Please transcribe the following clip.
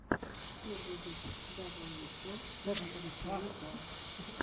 первый выпуск дабл ю о ти реплей зон